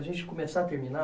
a gente começar a terminar...